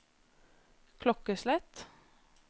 klokkeslett